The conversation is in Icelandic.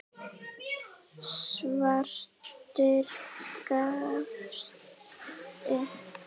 Svartur gafst upp.